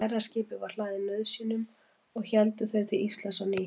Stærra skipið var hlaðið nauðsynjum og héldu þeir til Íslands á ný.